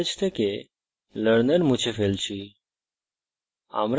আমি ম্যাসেজ থেকে learner মুছে ফেলছি